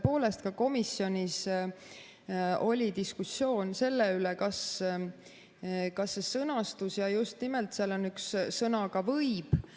Tõepoolest, ka komisjonis oli diskussioon selle sõnastuse üle ja just nimelt selle üle, et seal on sõna "võib".